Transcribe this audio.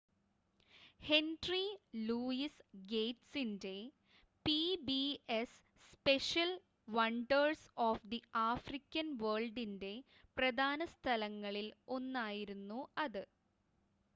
henry Louis ഗേറ്റ്സിൻ്റെ PBS special wonders of the African വേൾഡിൻ്റെ പ്രധാന സ്ഥലങ്ങളിൽ ഒന്നായിരുന്നു അത്